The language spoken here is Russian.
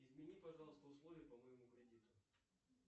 измени пожалуйста условия по моему кредиту